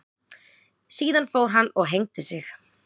Síðan fór hann og hengdi sig.